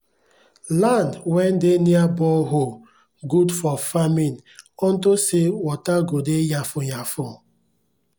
land wen dey near borehole gud for farming ontop say water go dey yanfu yanfu